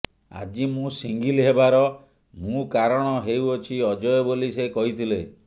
ଆଜି ମୁଁ ସିଙ୍ଗିଲ୍ ହେବାର ମୁଁ କାରଣ ହେଉଛନ୍ତି ଅଜୟ ବୋଲି ସେ କହିଥିଲେ